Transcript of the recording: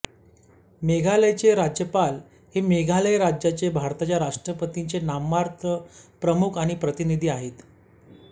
मेघालयचे राज्यपाल हे मेघालय राज्याचे भारताच्या राष्ट्रपतींचे नाममात्र प्रमुख आणि प्रतिनिधी आहेत